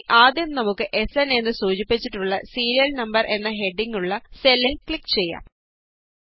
അതിനായി ആദ്യം നമുക്ക് എസ്എന് എന്ന് സൂചിപ്പിച്ചിട്ടുള്ള സീരിയല് നമ്പര് എന്ന ഹെഡിംഗ് ഉള്ള സെല്ലില് ക്ലിക് ചെയ്യാം